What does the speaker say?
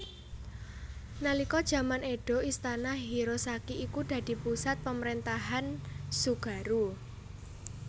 Nalika jaman Edo Istana Hirosaki iku dadi pusat pamrentahan Tsugaru